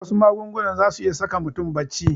Wasu magungunan zasu iya saka mutum bacci